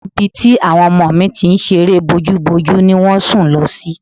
Ibi tí àwọn ọmọ mi ti ń ṣeré bójúbojú ni wọ́n sùn lọ sí